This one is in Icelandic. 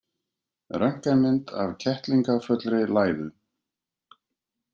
Röntgenmynd af kettlingafullri læðu.